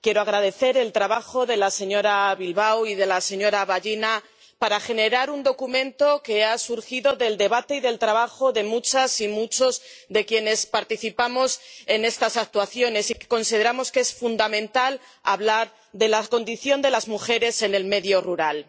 Quiero agradecer el trabajo de la señora Bilbao y de la señora Vallina para generar un documento que ha surgido del debate y del trabajo de muchas y muchos de quienes participamos en estas actuaciones y que consideramos que es fundamental hablar de la condición de las mujeres en el medio rural.